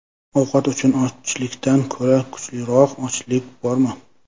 Ovqat uchun ochlikdan ko‘ra kuchliroq ochlik bormi?